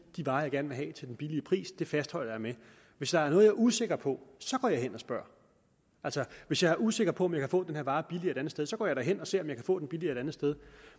de varer man gerne vil have til den billige pris man fastholder det hvis der er noget jeg er usikker på så går jeg hen og spørger altså hvis jeg er usikker på om jeg kan få den her vare billigere et andet sted så går jeg da hen og ser om jeg kan få den billigere et andet sted